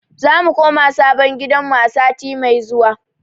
Zamu koma sabon gidanmu a sati mai zuwa.